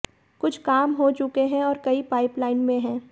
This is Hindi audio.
कुछ काम हो चुके हैं और कई पाइपलाइन में हैं